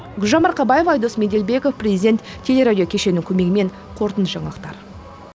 гүлжан марқабаева айдос меделбеков президент телерадио кешенінің көмегімен қорытынды жаңалықтар